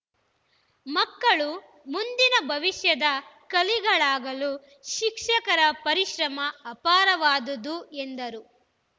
ಮಕ್ಕಳು ಮುಂದಿನ ಭವಿಷ್ಯದ ಕಲಿಗಳಾಗಲು ಶಿಕ್ಷಕರ ಪರಿಶ್ರಮ ಅಪಾರವಾದುದು ಎಂದರು